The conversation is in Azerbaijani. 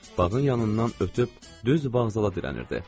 Bağın yanından ötüb düz vağzala dirənirdi.